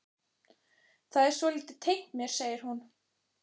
Það er svolítið tengt mér, segir hún.